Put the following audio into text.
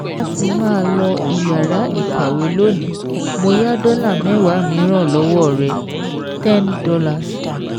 Láti má lọ iyàrá ìkàwé lónìí, mo yá dọ́là mẹwa mìíràn lọ́wọ́ rẹ̀ ten dollars